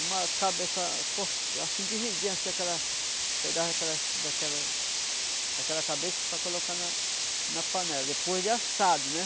uma cabeça cortada assim dividindo assim aquela pedaço daquela daquela daquela cabeça para colocar na na panela depois de assado, né?